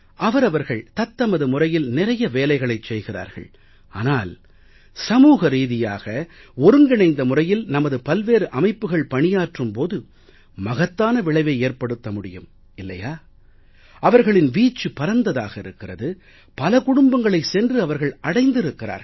அவரவர்கள் தத்தமது முறையில் நிறைய வேலைகளைச் செய்கிறார்கள் ஆனால் சமூக ரீதியாக ஒருங்கிணைந்த முறையில் நமது பல்வேறு அமைப்புகள் பணியாற்றும் போது மகத்தான விளைவை ஏற்படுத்த முடியும் இல்லையா அவர்களின் வீச்சு பரந்ததாக இருக்கிறது பல குடும்பங்களைச் சென்று அவர்கள் அடைந்திருக்கிறார்கள்